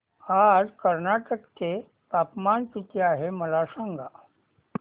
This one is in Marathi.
आज कर्नाटक चे तापमान किती आहे मला सांगा